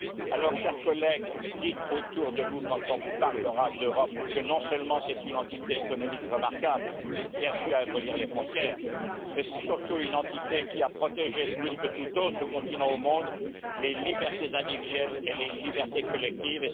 Alors, chers collègues, dites autour de vous quand on vous parlera d'Europe, que non seulement c'est une entité économique remarquable, qui a su abolir les frontières, mais c'est surtout une entité qui a protégé, plus que tout autre continent au monde, les libertés individuelles et les libertés collectives.